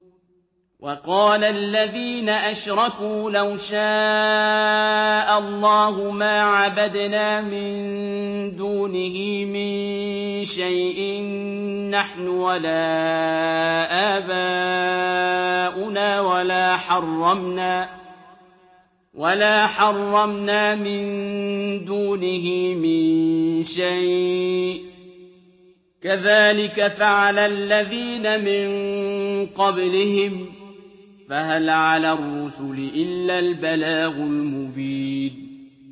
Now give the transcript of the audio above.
وَقَالَ الَّذِينَ أَشْرَكُوا لَوْ شَاءَ اللَّهُ مَا عَبَدْنَا مِن دُونِهِ مِن شَيْءٍ نَّحْنُ وَلَا آبَاؤُنَا وَلَا حَرَّمْنَا مِن دُونِهِ مِن شَيْءٍ ۚ كَذَٰلِكَ فَعَلَ الَّذِينَ مِن قَبْلِهِمْ ۚ فَهَلْ عَلَى الرُّسُلِ إِلَّا الْبَلَاغُ الْمُبِينُ